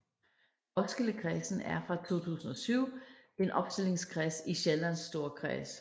Roskildekredsen er fra 2007 en opstillingskreds i Sjællands Storkreds